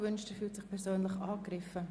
er fühlt sich persönlich angegriffen.